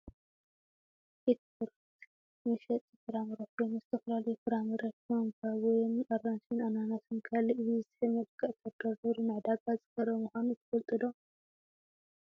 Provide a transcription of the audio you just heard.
ኤትፍሩት መሸጢ ፍራምረ ኮይኑ ዝተፈላለዩ ፍራምረ ከም ባባዮን ኣራንሽ፣ ኣናናስን ካልእን ብዝስሕብ መልክዕ ተደርዲሩ ንዕዳጋ ዝቀረበ ምኳኑ ትፈልጡ ዶ ?